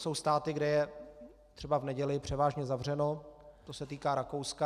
Jsou státy, kde je třeba v neděli převážně zavřeno, to se týká Rakouska.